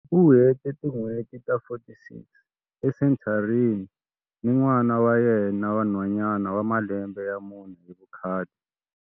U hete tin'hweti ta 46 esenthareni ni n'wana wa yena wa nhwanyana wa malembe ya mune hi vukhale.